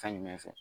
Fɛn jumɛn fɛ